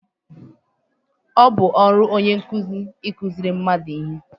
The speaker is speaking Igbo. Ọ bụ ọrụ onye nkụzi ịkụziṛị mmadụ ihe